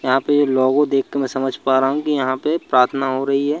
यहां पर लोगो देख के मैं समझ पा रहा हूं यहां पे प्रार्थना हो रही है।